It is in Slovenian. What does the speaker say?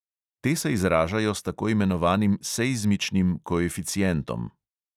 Te se izražajo s tako imenovanim seizmičnim koeficientom.